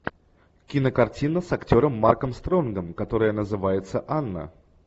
кинокартина с актером марком стронгом которая называется анна